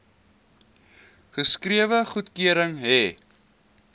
geskrewe goedkeuring hê